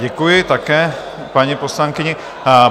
Děkuji také paní poslankyni.